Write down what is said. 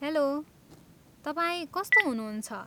Hello, तपाईँ कस्तो हुनुहुन्छ?